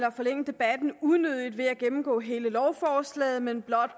at forlænge debatten unødigt ved at gennemgå hele lovforslaget men blot